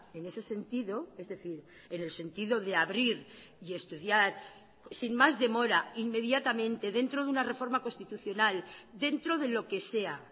en ese sentido es decir en el sentido de abrir y estudiar sin más demora inmediatamente dentro de una reforma constitucional dentro de lo que sea